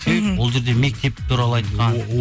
мхм ол жерде мектеп туралы айтқан